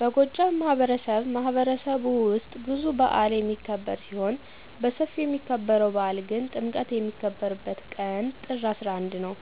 በጎጃም ማህበረሰብማህበረሰብ ውስጥ ብዙ በአል የሚክብር ሲሆን በስፊው የሚከበርው በአል ግን ጥምቀት የሚከበርበት ቀን ጥር 11 ነው።